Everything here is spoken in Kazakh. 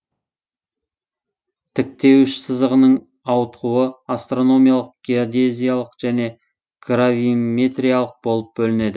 тіктеуіш сызығының ауытқуы астрономиялық геодезиялық және гравиметриялық болып бөлінеді